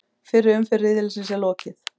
Fyrri umferð riðilsins er lokið